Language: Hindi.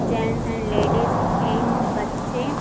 जेंट्स एंड लेडीज एंड बच्चे --